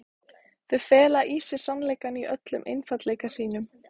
Þau fela í sér sannleikann í öllum einfaldleika sínum.